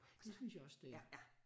Det synes jeg også det er